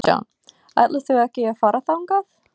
Kristján: Ætlar þú ekki að fara þangað?